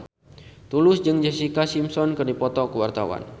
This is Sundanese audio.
Tulus jeung Jessica Simpson keur dipoto ku wartawan